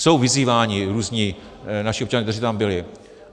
Jsou vyzýváni různí naši občané, kteří tam byli.